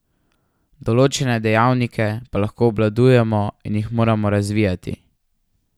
Določene dejavnike pa lahko obvladujemo in jih moramo razvijati.